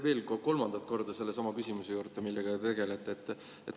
Veel kolmandat korda sellesama küsimuse juurde, millega te tegelete.